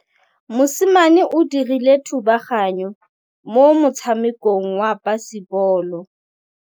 Mosimane o dirile thubaganyô mo motshamekong wa basebôlô.